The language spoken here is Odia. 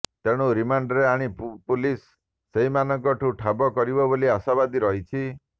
ତେଣୁ ରିମାଣ୍ଡରେ ଆଣି ପୁଲିସ ସେହିମାନଙ୍କୁ ଠାବ କରିବ ବୋଲି ଆଶାବାଦୀ ରହିଛି